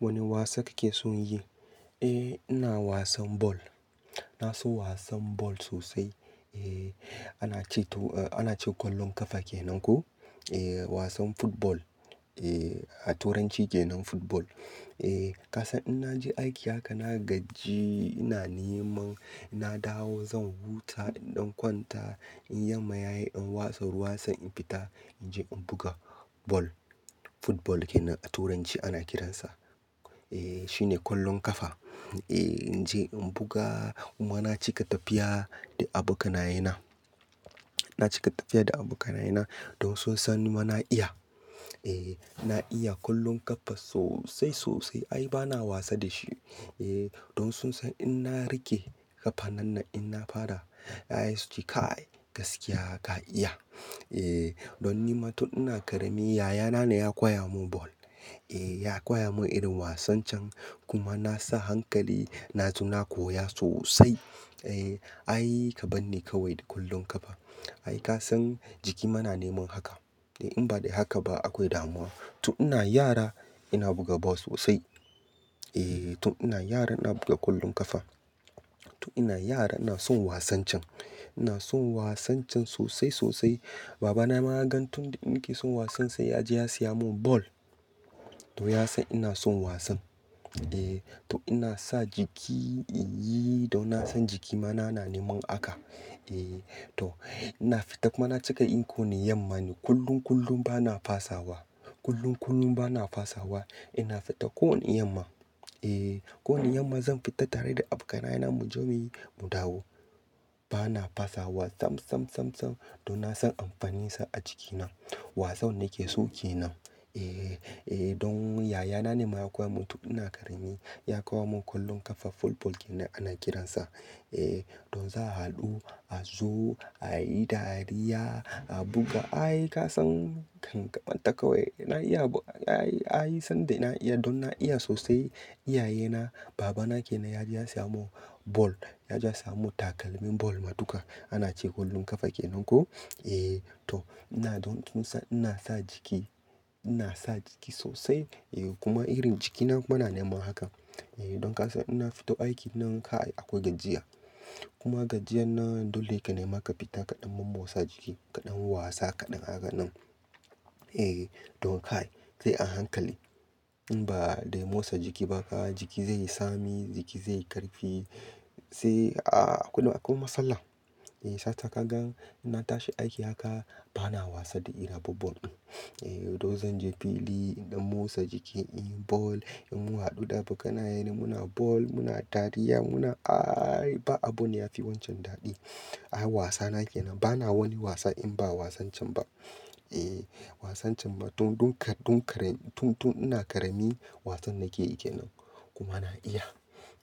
Wani wasa kake son yi? E, ina wasan ball. Na so wasan ball sosai. Eh ana ce to-- ana ce kwallon kafa kenan ko? E, wasan football. Eh, a turanci kenan football. E, ka san in naje aiki haka na gaji, ina neman ina dawo zan huta in ɗan kwanta. In yamma yayi in watsa ruwa sai in fita in je in buga ball. Football kenan a turanci ana kiransa. Eh, shine kwallon kafa. Eh in je in buga kuma na cika tafiya da abokanaye na. Na cika tafiya da abokanaye na don sun san nima naiya. Eh na iya kwallon kafa sosai, sosai. Ai bana wasa da shi. Eh don sun san in na riƙe kafa nan na, in na fara, ya yi su ce kai gaskiya ka iya. E, don nima tun ina ƙarami yayana ne ya koya mun ball. Eh ya koya mun irin wasan can kuma na sa hankali. Na tu na koya sosai. Eh ai ka bar ni kawai da kwallon kafa. Ai ka san jiki ma na neman haka. In ba dai haka ba akwai damuwa. Tun ina yara ina buga ball sosai. Eh tun ina yara ina buga kwallon kafa. Tun ina yara ina son wasan can. Ina son wasan can sosai, sosai. Babana ma ya gan tun da ni ke son wasan sai ya je ya siya mun ball. To ya san ina son wasan. Eh toh ina sa jiki in yi don na san jiki ma na, na neman haka. Eh toh ina fita kuma na cika yi ko wani yamma ne kullum, kullum bana fasawa. Kullum, kullum bana fasawa. Ina fita kowani yamma. Eh, kowani yamma zan fita tare da abokanaye na mu je muyi mu dawo. Bana fasawa sam, sam, sam, sam don na san amfaninsa a jikina. Wasan nake so kenan. Eh eh don yaya na ne ma ya koya mun tun ina ƙarami. Ya koya mun kwallon kafa football kenan ana kiransa. Eh don za'a haɗu, a zo, a yi dariya, a buga. Ai ka san ɗan ƙarami ta kawai. Na iya ai, ai sanda ina iya don na iya sosai. Iyaye na babana kenan ya je ya siya mun ball. Ya je ya siya mun takalmin ball matuka. Ana ce kwallon kafa kenan ko? Eh toh ina don tun san ina sa jiki, ina sa jiki sosai. Eh kuma irin jikina kuma na nema haka. Eh don ka san ina fito aiki nan kai akwai gajiya. Kuma gajiyan nan dole ya ka nema ka fita kaɗan momotsa jiki, kaɗan wasa kaɗan haka nan. Eh don kai sai a hankali. In ba dai motsa jiki ba jiki zai yi tsami, jiki zai yi ƙarfi sai a akwai, akwai matsala. E, sata ka gan ina tashi aiki haka bana wasa da irin abubuwan. E, to zan je fili in ɗan motsa jiki, in yi ball, in mu haɗu da abokanaye na muna ball, muna dariya muna ai ba abu ne yafi wancan daɗi. Ai wasana kenan. Bana wani wasa in ba wasan can ba. E, wasan can ma tun, tun ka, tun kare, tun, tun ina ƙarami wasan nake yi kenan. Kuma na iya.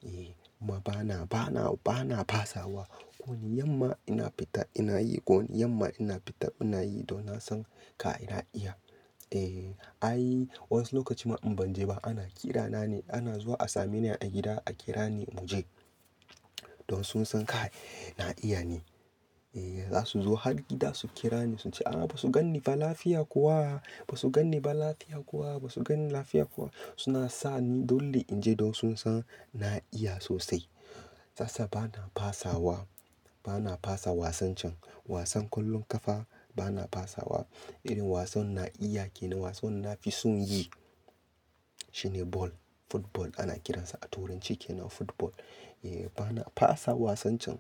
E kuma bana, bana, bana fasawa. Kowani yamma ina fita ina yi. Kowani yamma ina fita ina yi don na san ka ina iya. E, ai wasu lokaci ma in ban je ba ana kira na ne. Ana zuwa a same ni a gida a kira ni mu je. Don sun san kai na iya ne. E, za su zo har gida su kira ni sun ce "A'a ba su ganni ba lafiya kuwa. Ba su ganni ba lafiya kuwa. Ba su ganni lafiya kuwa." Suna sa ni dole in je don sun san na iya sosai. Satasa bana fasawa. Bana fasa wasan can. Wasan kwallon kafa bana fasawa. Irin wasan na iya kenan. Wasan na fi son yi shine ball. Football ana kiransa a turanci kenan football. E, bana fasa wasan can.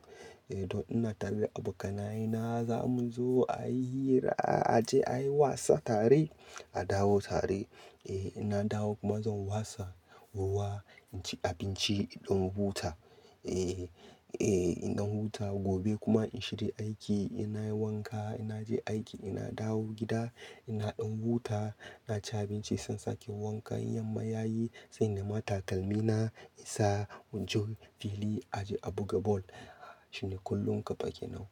E, don ina tare da abokanaye na za mu zo a yi hira, a je a yi wasa tare, a dawo tare. E, ina dawo kuma zan wasa ruwa, in ci abinci in ɗan huta. E, e, in ɗan huta gobe kuma in shiga aiki. Ina yi wanka, ina je aiki, ina dawo gida, ina ɗan huta, na ci abinci sai sake wanka. In yamma yayi sai nema takalmi na in sa mu je fili a je a buga ball. Shine kwallon kafa kenan.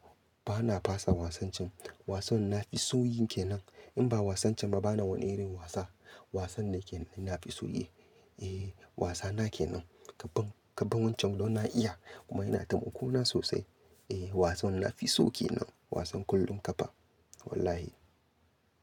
Bana fasa wasan can. Wasan na fi son yin kenan. In ba wasan can ba bana wani irin wasa. Wasan ne kenan ina fi so yi. E, wasana kenan. Kabon, kabon wancan don na iya kuma yana taimako na sosai. E, wasan na fi so kenan. Wasan kwallon kafa. Wallahi.